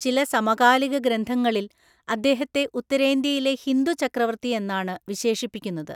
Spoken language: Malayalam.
ചില സമകാലിക ഗ്രന്ഥങ്ങളിൽ അദ്ദേഹത്തെ ഉത്തരേന്ത്യയിലെ ഹിന്ദു ചക്രവർത്തി എന്നാണ് വിശേഷിപ്പിക്കുന്നത്.